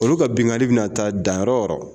Olu ka binnkanni bɛna taa dan yɔrɔ o yɔrɔ